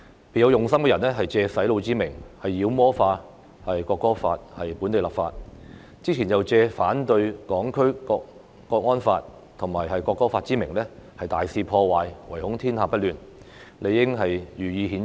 別有用心的人藉"洗腦"之名，妖魔化《國歌法》在本地立法，之前又藉反對港區國安法和《條例草案》之名大肆破壞，唯恐天下不亂，理應予以譴責。